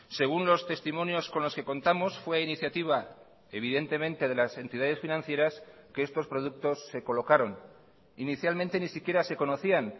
según los testimonios con los que contamos fue iniciativa evidentemente de las entidades financieras que estos productos se colocaron inicialmente ni siquiera se conocían